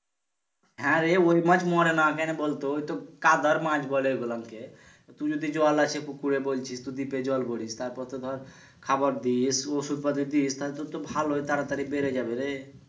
হ্যাঁরে ওই মাছ মরে না কেনে বলতো ওইতো কাদার মাছ বলে ঐগুলান কে তো তুই যদি জল আছে পুকুরে বলছিস তো ডিপে জল ভরিস তারপর তো ধর খাবার দিস ওষুধ পাতি দিস তালে তো তোর ভালোই তাড়াতাড়ি বেড়ে যাবে রে